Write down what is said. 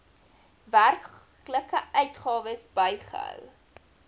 werklike uitgawes bygehou